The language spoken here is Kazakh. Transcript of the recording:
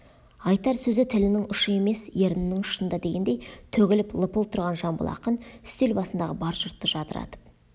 айтар сөзі тілінің ұшы емес ернінің ұшында дегендей төгіліп лыпып тұрған жамбыл ақын үстел басындағы бар жұртты жадыратып